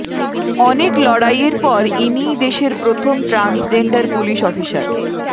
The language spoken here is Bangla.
অনেক লড়াইয়ের পর ইনিই দেশের প্রথম ট্রান্সজেন্ডার পুলিশ অফিসার